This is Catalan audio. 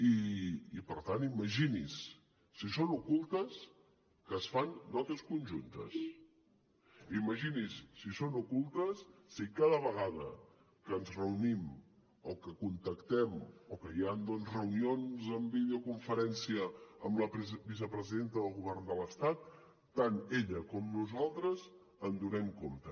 i per tant imagini’s si són ocultes que es fan notes conjuntes imagini’s si són ocultes si cada vegada que ens reunim o que contactem o que hi han doncs reunions amb videoconferència amb la vicepresidenta del govern de l’estat tant ella com nosaltres en donem compte